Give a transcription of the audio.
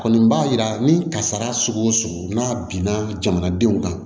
Kɔni b'a yira ni kasara sugu o sugu n'a binna jamanadenw kan